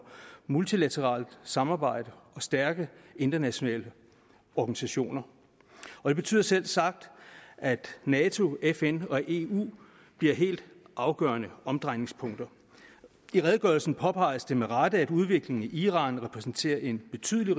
multilateralt samarbejde og stærke internationale organisationer det betyder selvsagt at nato fn og eu bliver helt afgørende omdrejningspunkter i redegørelsen påpeges det med rette at udviklingen i iran repræsenterer en betydelig